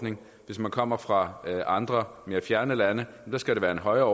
hvis man kommer fra andre mere fjerne lande skal det være et højere